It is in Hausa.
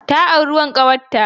Ta auri wan ƙawarta.